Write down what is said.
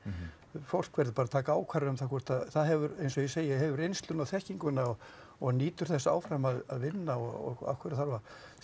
fólk verður bara að taka ákvarðanir um það hvort það hefur eins og ég segi hefur reynsluna og þekkinguna og nýtur þess áfram að vinna og af hverju þarf að